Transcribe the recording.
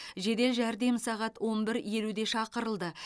жедел жәрдем сағат он бір елуде шақырылды